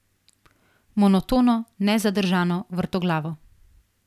Monotono, nezadržno, vrtoglavo.